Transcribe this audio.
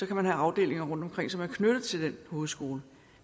kan man have afdelinger rundtomkring som er knyttet til den hovedskole